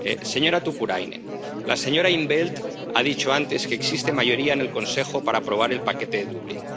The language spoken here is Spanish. Señora Tuppurainen, la señora in t Veld ha dicho antes que existe mayoría en el Consejo para aprobar el paquete de Dublín.